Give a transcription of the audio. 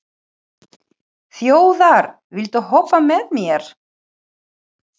Þjóðar, viltu hoppa með mér?